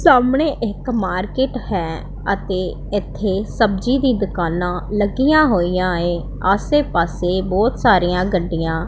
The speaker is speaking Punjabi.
ਸਾਹਮਣੇ ਇੱਕ ਮਾਰਕੀਟ ਹੈ ਅਤੇ ਇੱਥੇ ਸਬਜ਼ੀ ਦੀ ਦੁਕਾਨਾਂ ਲੱਗੀਆਂ ਹੋਈਆਂ ਏ ਆਸੇ ਪਾਸੇ ਬਹੁਤ ਸਾਰੀਆਂ ਗੱਡੀਆਂ।